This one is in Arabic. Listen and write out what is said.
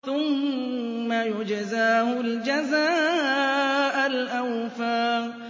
ثُمَّ يُجْزَاهُ الْجَزَاءَ الْأَوْفَىٰ